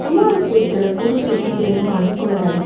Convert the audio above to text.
ಸುಮಾರು ಕೇಕ್ ಗಳ ಪೂರ್ವ ಸಿದ್ಧತೆಯನ್ನು ಮಾಡಿಕೊಳ್ಳಲಾಗಿದೆ.